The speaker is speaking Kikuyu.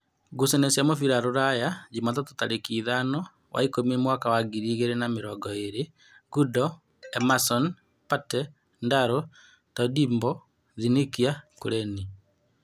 Ngucanio cia mũbira Rūraya Jumatatũ tarĩki ithano wa ikũmi mwaka wa ngiri igĩrĩ na mĩrongo ĩrĩ: Gundo, Emason, Pate, Ndaro, Tondimbo, Thikinia, Kureni